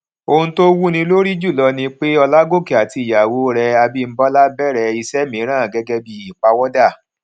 ohun tó wúni lórí jùlo ni pé olágòkè àti ìyàwó rè abímbólá bèrè iṣẹ mìíràn gẹgẹ bí ìpawódà